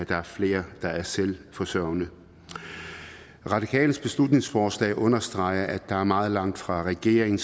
der er flere der er selvforsørgende de radikales beslutningsforslag understreger at der er meget langt fra regeringen